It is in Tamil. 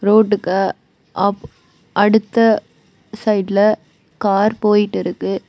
ரோட்டுக்கு ஆப் அடுத்த சைடுல கார் போயிட்டுருக்கு.